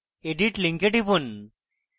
edit link টিপুন